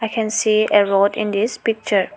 I can see a road in this picture.